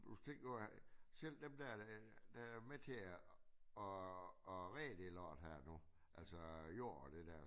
Plus tænk nu at selv dem dér der er med til at at at redde det lort her nu altså jord og det dér